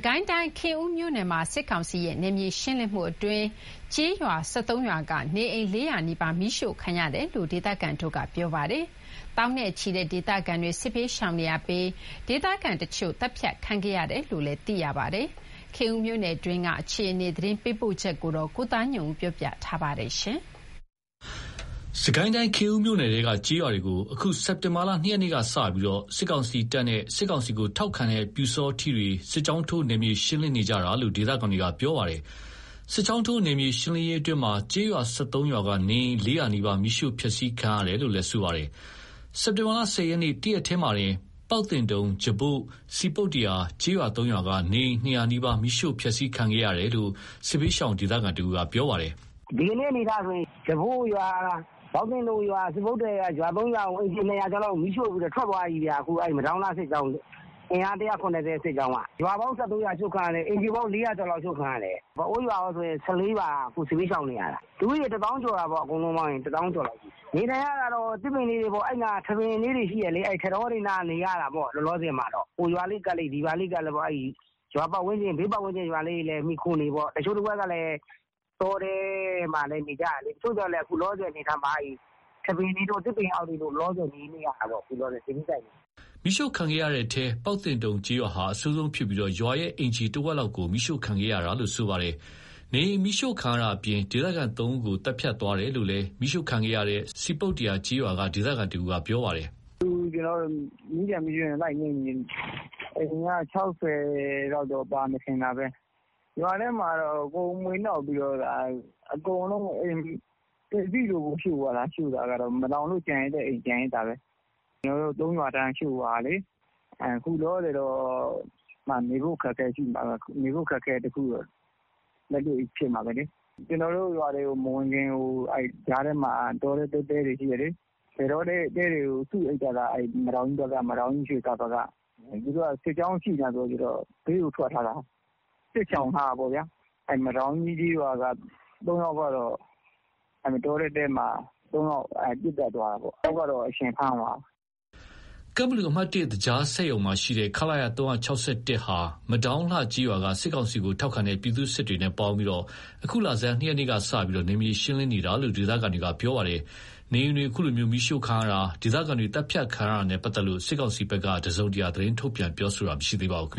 ကိုင်းတိုင်း ခင်ဦးမြို့နယ်မှာ စစ်ကောင်စီရဲ့ နယ်မြေရှင်းလင်းမှုအတွင်း ကျေးရွာ ၁၃ ရွာက နေအိမ် လေးရာနီးပါး မီးရှို့ခံရတယ်လို့ ဒေသခံတွေက ပြောပါတယ်။ သောင်းနဲ့ချီတဲ့ ဒေသခံတွေ စစ်ဘေးရှောင်နေရပြီး၊ ဒေသခံတချို့ သတ်ဖြတ်ခံခဲ့ရတယ်လို့လည်း သိရပါတယ်။ ခင်ဦးမြို့နယ်တွင်းက အခြေအနေ သတင်းပေးပို့ချက်ကို ကိုသားညွန့်ဦးက တင်ပြပေးထားပါတယ်။ စစ်ကိုင်းတိုင်း ခင်ဦးမြို့နယ်ထဲက ကျေးရွာတွေကို အခုစက်တင်ဘာ ၂ ရက်ကစပြီး စစ်ကောင်စီတပ်နဲ့ စစ်ကောင်စီထောက်ခံတဲ့ ပျူစောထီးတွေ စစ်ကြောင်းထိုး နယ်မြေရှင်းလင်းနေကြတာလို့ ဒေသခံတွေပြောပါတယ်။ စစ်ကြောင်းထိုး နယ်မြေရှင်းလင်းရေးအတွင်း ကျေးရွာ ၁၃ ရွာက နေအိမ် ၄၀၀ နီးပါး မီးရှို့ဖျက်စီးခံရတယ်လို့ဆိုပါတယ်။ စက်တင်ဘာ ၁၀ ရက် တရက်တည်းမှာတင် ပေါက်သင်တုံ၊ ဂျပို့၊ စည်ပုတ္တရာ စတဲ့ကျေးရွာ ၃ ရွာက နေအိမ် ၂၀၀ နီးပါး မီးရှို့ဖျက်စီးခံခဲ့ရတယ်လို့ စစ်ဘေးရှောင် ဒေသခံတဦးကပြောပါတယ်။ "ဒီကနေ့ အနေအထားဆိုရင် ဂျပို့ရွာ၊ ပေါက်သင့်တုံရွာ၊ စည်ပုတ္တရာ၊ ရွာ ၃ ရွာက အိမ်ခြေ ၂၀၀ ကျော်ကို မီးရှို့ပြီးတော့ ထွက်သွားပြီခင်ဗျ မဒေါင်းလှစစ်ကြောင်း အင်အား ၁,၇၀၀ စစ်ကြောင်းက။ ရွာပေါင်း ၁၃ ရွာ ရှို့ခံရတယ်။ အိမ်ခြေပေါင်း ၄၀၀ လောက်ရှို့ခံရတယ်။ မဲအိုးရွာကောဆို အားလုံး ၁၄ ရွာလောက် စစ်ဘေးရှောင်နေရတာ။လူဦးရေ တသောင်းကျော်လောက် ရှိတာပေါ့။ အကုန်လုံးပေါင်းရင် တသောင်းကျော်လောက်ရှိတယ်။ နေထိုင်ရတာတော့ သစ်ပင်လေးတွေပေါ့။ အဲ့နားက သစ်ပင်လေးတွေရှိတယ်လေ။ ထန်းတောတွေနား နေရတာပေါ့ လောလောဆယ်မှာတော့။ ဟိုရွာလေးကပ်လိုက်၊ ဒီရွာလေးကပ်လိုက် ဘေးပတ်ဝန်းကျင်ရွာတွေကို မှီခိုနေပေါ့။ တချို့တဝက်ကလည်း တောထဲမှာလည်း နေကြတယ်လေ။ သို့သော်လည်း ထန်းပင်တွေတို့၊ သစ်ပင်တို့အောက်မှာ လောလောဆယ် နေကြရတာပေါ့။ စစ်ဘေးရှောင်တွေက။" မီးရှို့ခံရတဲ့ထဲ ပေါက်သင့်တုံရွာဟာ အဆိုးဆုံးဖြစ်ပြီး ရွာရဲ့အိမ်ခြေတဝက်လောက် မီးရှို့ခံခဲ့ရတယ်လို့သိရပါတယ်။ နေအိမ်မီးရှို့တာအပြင် ဒေသခံ ၃ ဦးကို သတ်ဖြတ်သွားတယ်လို့လည်း မီးရှို့ခံရတဲ့ စည်ပုတ္တရာ ကျေးရွာကဒေသခံတဦးက ပြောပါတယ်။ "အခုကျနော်တို့ မီးကျွင်းမီးကျန် လိုက်ငြှိမ်းနေတယ်။ အိမ်ခြေက ၆၀ လောက်တော့ ပါမယ်ထင်တာပဲ။ ရွာထဲမှာ အကုန်မွှေနှောက်ပြီး အိမ်ထဲက ပစ္စည်းတွေ အကုန်ရှို့သွားတာ မလောင်လို့ ကျန်ရစ်တဲ့အိမ်ကျန်ရစ်တာပဲ။ ကျနော်တို့ရဲ့ ၃ ရွာ ရှို့သွားတာလေ။ အခုလောလောဆယ်တော့ နေဖို့ အခက်အခဲရှိတာပေါ့။ နေဖို့အခက်အခဲတော့ လက်တွေ့ဖြစ်မှာပဲလေ။ ရွာတွေမဝင်ခင် တောထဲ တဲတွေရှိတယ်လေ။ လယ်တောတဲတွေကို စုအိပ်ကြတာ။ မဒေါင်းကြီးဘက်က၊ ရွှေသာဘက်က သူတို့က စစ်ကြောင်းရှိတော့ ဘေးကိုထွက် စစ်ရှောင်ထားတာပေါ့။ မဒေါင်းကြီးကျေးရွာ က ၃ ယောက်ကတော့ တောထဲတဲမှာ ပစ်သတ်သွားတာပေါ့။ တယောက်ကတော့ ထားတာ အရှင်ဖမ်းသွားတာပေါ့။" ကန့်ဘလူ အမှတ် သကြားစက်ရုံက ခလရ ဟာ မဒေါင်းလှကျေးရွာက စစ်ကောင်စီထောက်ခံသူ ပြည်သူ့စစ်တွေနဲ့ ပူးပေါင်းပြီး အခုလဆန်း ၂ ရက်ကစလို့ နယ်မြေရှင်းလင်းနေတာလို့ ဒေသခံတွေပြောပါတယ်။ နေအိမ်တွေမီးရှို့ခံရတာ၊ ဒေသခံတွေသတ်ဖြတ်ခံရတာနဲ့ ပတ်သက်လို့ စစ်ကောင်စီဘက်က သတင်းထုတ်ပြန်တာ မရှိသေးပါဘူ